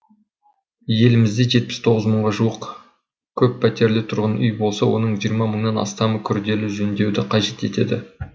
елімізде жетпіс тоғыз мыңға жуық көппәтерлі тұрғын үй болса оның жиырма мыңнан астамы күрделі жөндеуді қажет етеді